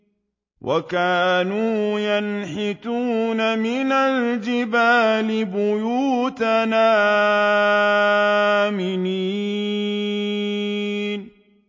وَكَانُوا يَنْحِتُونَ مِنَ الْجِبَالِ بُيُوتًا آمِنِينَ